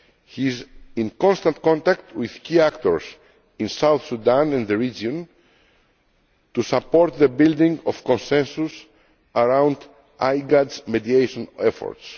He is in constant contact with key actors in South Sudan and the region to support the building of consensus around IGAD's mediation efforts.